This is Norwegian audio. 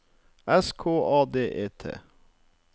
S K A D E T